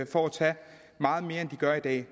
for at tage meget mere end de gør i dag